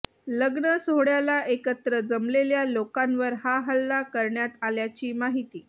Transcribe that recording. लग्न सोहळ्याला एकत्र जमलेल्या लोकांवर हा हल्ला करण्यात आल्याची माहिती